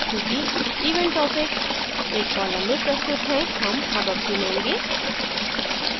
चूंकि event topics एक column में प्रस्तुत है हम above चुनेंगे